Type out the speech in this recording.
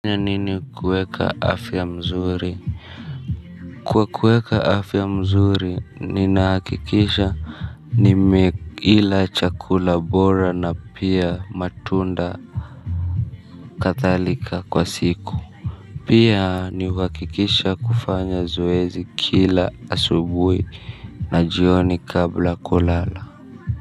Nini kueka afya mzuri? Kwa kueka afya mzuri ninahakikisha nimeila chakula bora na pia matunda. Kadhalika kwa siku. Pia ni uhakikishe kufanya zoezi kila asubuhi na jioni kabla kulala.